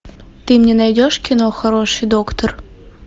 ты мне найдешь кино хороший доктор